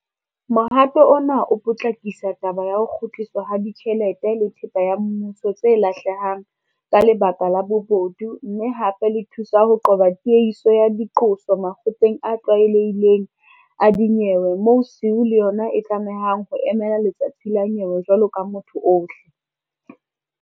Mohato ona o potlakisa taba ya ho kgutliswa ha tjhelete le thepa ya mmuso tse lahlehang ka lebaka la bobodu mme hape le thusa ho qoba tiehiso ya diqoso makgotleng a tlwaelehileng a dinyewe moo SIU le yona e tlamehang ho emela letsatsi la nyewe jwalo ka motho ohle.